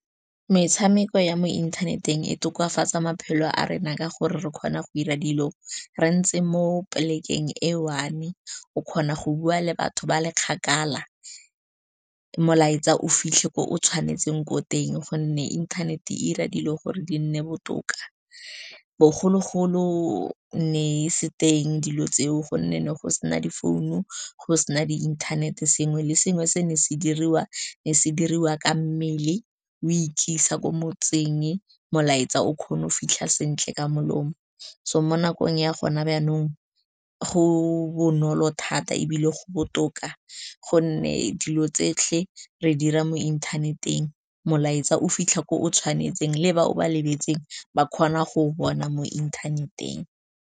Metshameko ya mo inthaneteng e tokafatsa maphelo a rena ka gore re kgona go dira dilo re ntse mo plek-eng e one. O kgona go bua le batho ba le kgakala, molaetsa o fitlhe ko o tshwanetseng ko teng, gonne inthanete 'ira dilo gore di nne botoka. Bogologolo ne e se teng dilo tseo, gonne ne go sena difounu, go sena di inthanete, sengwe le sengwe se ne se dirwa ka mmele, o ikisa ko motseng, molaetsa o kgona go fitlha sentle ka molomo. So mo nakong ya gona jaanong go bonolo thata ebile go botoka, gonne dilo tse tsotlhe re dira mo inthaneteng, molaetsa o fitlha ko o tshwanetseng, le ba ba lebetseng ba kgona go bona mo inthaneteng.